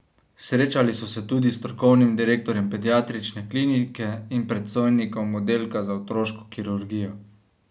Srečali so se tudi s strokovnim direktorjem Pediatrične klinike in predstojnikom oddelka za otroško kirurgijo.